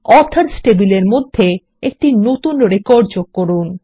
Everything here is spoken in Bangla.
অথর্স টেবিলের মধ্যে একটি নতুন রেকর্ড যোগ করুন